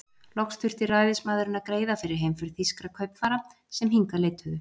Loks þurfti ræðismaðurinn að greiða fyrir heimför þýskra kaupfara, sem hingað leituðu.